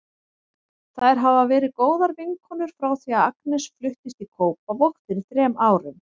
Þær hafa verið góðar vinkonur frá því að Agnes fluttist í Kópavog fyrir þrem árum.